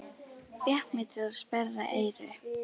Fékk mig til að sperra eyru.